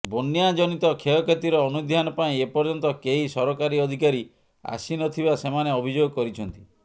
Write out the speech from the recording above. ବନ୍ୟା ଜନିତ କ୍ଷୟକ୍ଷତିର ଅନୁଧ୍ୟାନ ପାଇଁ ଏପର୍ଯ୍ୟନ୍ତ କେହି ସରକାରୀ ଅଧିକାରୀ ଆସିନଥିବା ସେମାନେ ଅଭିଯୋଗ କରିଛନ୍ତି